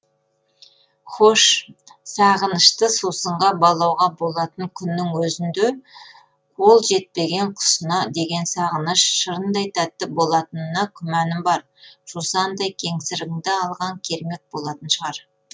хош сағынышты сусынға балауға болатын күннің өзінде қол жетпеген құсына деген сағыныш шырындай тәтті болатынына күмәнім бар жусандай кеңсірігіңді алған кермек болатын шығар